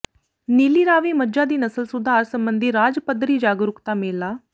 ਨੀਲੀ ਰਾਵੀ ਮੱਝਾਂ ਦੀ ਨਸਲ ਸੁਧਾਰ ਸਬੰਧੀ ਰਾਜ ਪੱਧਰੀ ਜਾਗਰੂਕਤਾ ਮੇਲਾ